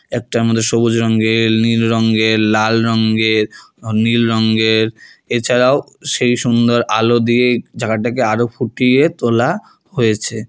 একটার মধ্যে সবুজ রঙ্গের নীল রঙ্গের লাল রঙ্গের ও নীল রঙ্গের এছাড়াও সেই সুন্দর আলো দিয়ে জায়গাটাকে আরো ফুটিয়ে তোলা হয়েছে।